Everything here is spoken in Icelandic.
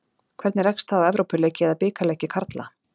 Hvernig rekst það á Evrópuleiki eða bikarleiki karla?